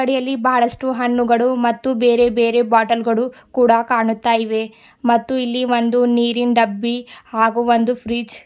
ಅಂಗಡಿಯಲ್ಲಿ ಬಹಳಷ್ಟು ಹಣ್ಣುಗಳು ಮತ್ತು ಬೇರೆ ಬೇರೆ ಬಾಟಲ್ ಗಳು ಕೂಡ ಕಾಣುತ್ತಾ ಇವೆ ಮತ್ತು ಇಲ್ಲಿ ಒಂದು ನೀರಿನ್ ಡಬ್ಬಿ ಹಾಗೂ ಒಂದು ಫ್ರಿಡ್ಜ್ --